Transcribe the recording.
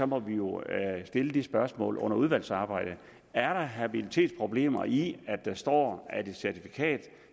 må vi jo stille spørgsmålet under udvalgsarbejdet er der habilitetsproblemer i at der står at et certifikat